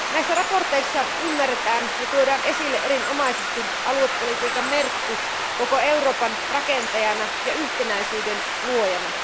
Näissä mietinnöissä ymmärretään ja tuodaan esille erinomaisesti aluepolitiikan merkitys koko Euroopan rakentajana ja yhtenäisyyden luojana.